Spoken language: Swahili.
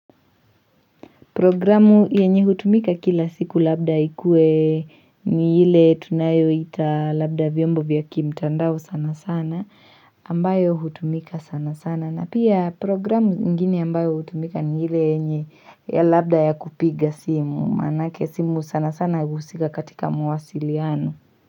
Programu yenye hutumika kila siku labda ikue ni hile tunayo ita labda vyombo vya kimtandao sana sana ambayo hutumika sana sana na pia programu ingine ambayo hutumika ni hile yenye ya labda ya kupiga simu manake simu sana sana husika katika mawasiliano.